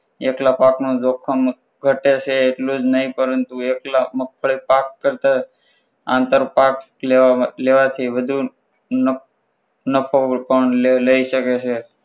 એકલા પાકનું જોખમ ઘટે છે એટલું જ નહીં પરંતુ એકલા મગફળી પાક કરતા આંતર પાક લેવાથી વધુ નફો પણ લઈ શકાય છે.